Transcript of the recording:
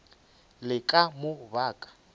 le ka mo ba ka